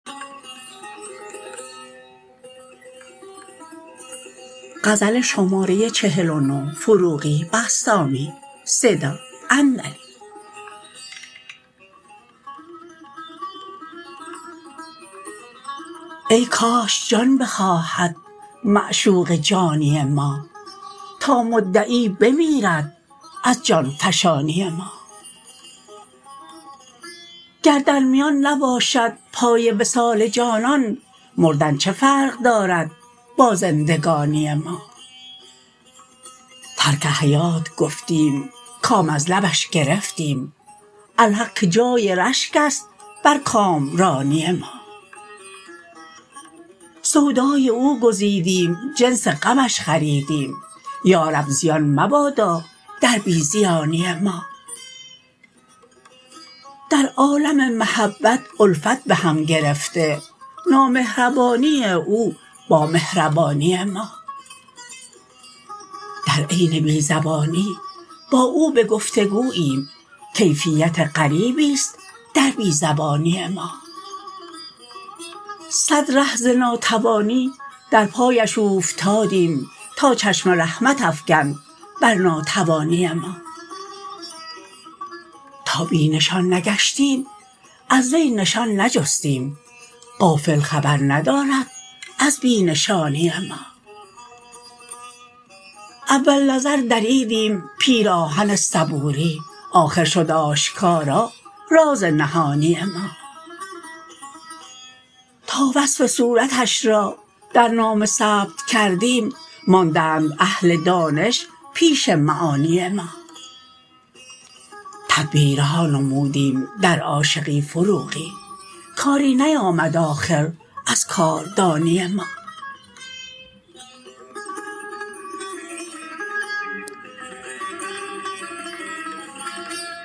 ای کاش جان بخواهد معشوق جانی ما تا مدعی بمیرد از جان فشانی ما گر در میان نباشد پای وصال جانان مردن چه فرق دارد با زندگانی ما ترک حیات گفتیم کام از لبش گرفتیم الحق که جای رشک است بر کامرانی ما سودای او گزیدیم جنس غمش خریدیم یا رب زیان مبادا در بی زیانی ما در عالم محبت الفت بهم گرفته نامهربانی او با مهربانی ما در عین بی زبانی با او به گفتگوییم کیفیت غریبی است در بی زبانی ما صد ره ز ناتوانی در پایش اوفتادیم تا چشم رحمت افکند بر ناتوانی ما تا بی نشان نگشتیم از وی نشان نجستیم غافل خبر ندارد از بی نشانی ما اول نظر دریدیم پیراهن صبوری آخر شد آشکارا راز نهانی ما تا وصف صورتش را در نامه ثبت کردیم ماندند اهل دانش پیش معانی ما تدبیرها نمودیم در عاشقی فروغی کاری نیامد آخر از کاردانی ما